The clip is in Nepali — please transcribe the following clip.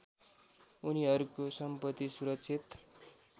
उनिहरूको सम्पत्ति सुरक्षित